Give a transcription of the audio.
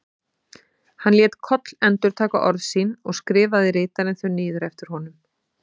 Hann lét Koll endurtaka orð sín og skrifaði ritarinn þau niður eftir honum.